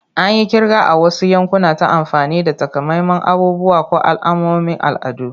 An yi kirga a wasu yankuna ta amfani da takamaiman abubuwa ko alamomin al'adu.